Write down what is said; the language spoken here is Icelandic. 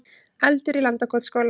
Eldur í Landakotsskóla